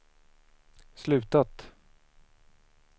slutat